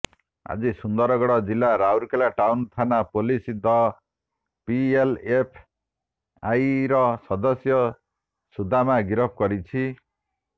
ଆଜି ସୁନ୍ଦରଗଡ଼ ଜିଲ୍ଲା ରାଉଲକେଲା ଟାଉନ ଥାନା ପୋଲିସ ଦ ପିଏଲଏଫଆଇର ସଦସ୍ୟ ସୁଦାମା ଗିରଫ କରିଛି